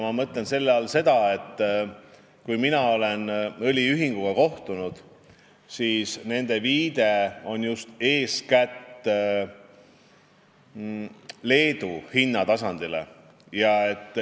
Ma mõtlen selle all seda, et kui mina olen õliühinguga kohtunud, siis nemad on viidanud Leedu hinnatasandile.